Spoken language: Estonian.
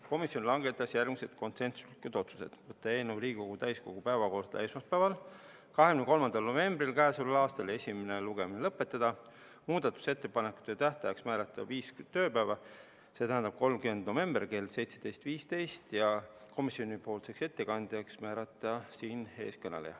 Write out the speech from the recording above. Komisjon langetas järgmised konsensuslikud otsused: võtta eelnõu Riigikogu täiskogu päevakorda esmaspäevaks, 23. novembriks, esimene lugemine lõpetada, muudatusettepanekute tähtajaks määrata viis tööpäeva, st 30. november kell 17.15, ja komisjoni ettekandjaks määrata siinkõneleja.